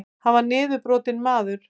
Hann var niðurbrotinn maður.